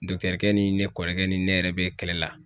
ni ne kɔrɔkɛ ni ne yɛrɛ be kɛlɛ la